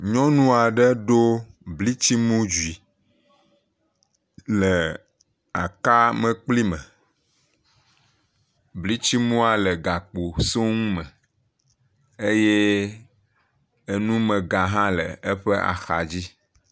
Nyɔnu aɖe ɖo blitsiŋu dzui le aka mlekpui me, bltsiŋua le gakpo soŋume, eye enumẽga hã ke eƒe axa dzi.